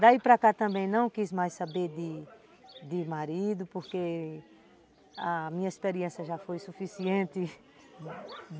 Daí para cá também não quis mais saber de de marido porque a minha experiência já foi suficiente.